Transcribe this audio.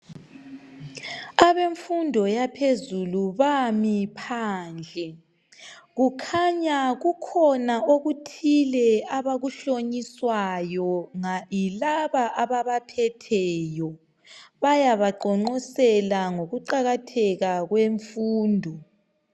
Abemfundo yaphezulu bami phandle. Kukhanya kukhona okuthile abakuhlonyiswayo yilaba ababaphetheyo, bayabaqonqosela ngokuqakatheka kwemfundo.